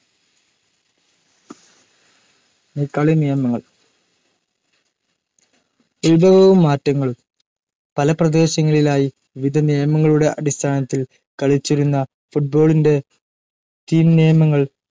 കളിനിയമങ്ങൾ ഉത്ഭവവും മാറ്റങ്ങളും പല പ്രദേശങ്ങളിലായി വിവിധ നിയമങ്ങളുടെ അടിസ്ഥാനത്തിൽ കളിച്ചിരുന്ന ഫുട്ബോtളിന്റെ ടീം നിയമങ്ങൾ